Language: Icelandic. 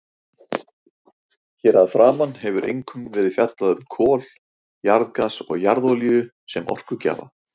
Hér að framan hefur einkum verið fjallað um kol, jarðgas og jarðolíu sem orkugjafa.